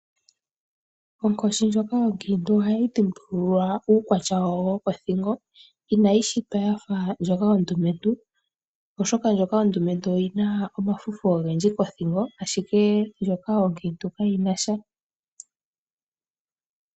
Onkoshi ndjoka onkiintu ohayi dhimbululwa uukwatya wawo wokothingo. Inayi shitwa ya fa ndjoka ondumentu, oshoka ndjoka ondumentu oyi na omafufu ogendji kothingo, ashike ndjoka onkiintu kayi na sha.